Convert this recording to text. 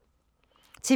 TV 2